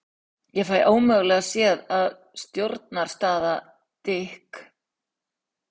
Ég fæ ómögulega séð að stjórastaða Dik